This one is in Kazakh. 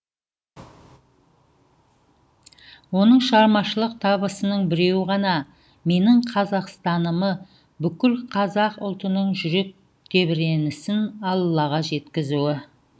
оның шығармашылық табысының біреуі ғана менің қазақстанымы бүкіл қазақ ұлтының жүрек тебіренісін аллаға жеткізуі